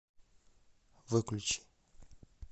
выключи